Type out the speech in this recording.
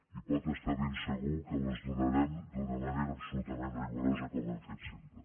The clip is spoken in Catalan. i pot estar ben segur que les donarem d’una manera absolutament rigorosa com hem fet sempre